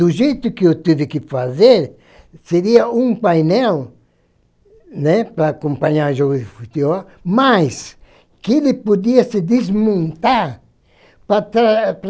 Do jeito que eu tive que fazer, seria um painel, né, para acompanhar jogo de futebol, mas que ele podia se desmontar para